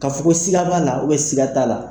K'a fɔ ko siga b'a la, siga t'a la.